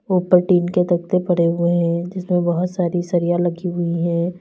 ऊपर टीन के तख्ते पड़े हुए हैं जिसमें बहोत सारी सरिया लगी हुई हैं।